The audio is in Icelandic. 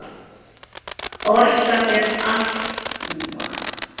Orsakir astma